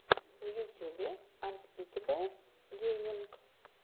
в ютюбе анспикэбл гейминг